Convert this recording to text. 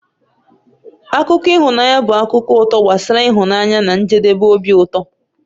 Akụkọ ịhụnanya bụ akụkọ ụtọ gbasara ịhụnanya na njedebe obi ụtọ.